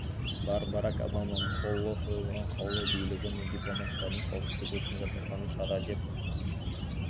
бар барак обаманың қолы қойылған қаулы билігі мен дипломаттарының қауіпсіздігі үшін жасалған шара деп